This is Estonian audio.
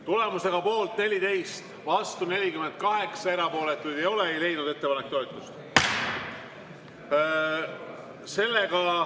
Tulemusega poolt 14, vastu 48, erapooletuid ei ole, ei leidnud ettepanek toetust.